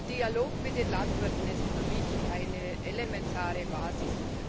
Der Dialog mit den Landwirten ist für mich eine elementare Basis.